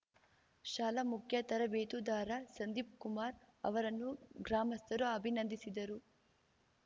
ಶಾಲೆ ಮುಖ್ಯ ತರಬೇತುದಾರ ಸಂದೀಪ್‌ಕುಮಾರ್‌ ಅವರನ್ನು ಗ್ರಾಮಸ್ಥರು ಅಭಿನಂದಿಸಿದರು